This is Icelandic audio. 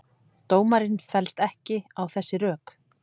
Dómarinn fellst ekki á þessi rök